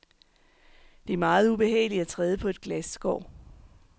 Det er meget ubehageligt at træde på et glasskår.